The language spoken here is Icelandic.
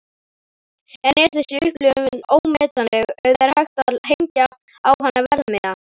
En er þessi upplifun ómetanleg eða er hægt að hengja á hana verðmiða?